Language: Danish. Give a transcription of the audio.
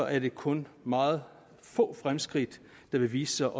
er det kun meget få fremskridt der vil vise